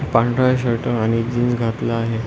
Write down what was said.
पांढरा शर्ट आणि जीन्स घातला आहे.